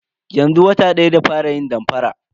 Yanzu wata daya da fara yin damfara.